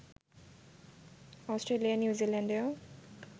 Australia, নিউজিল্যান্ডেও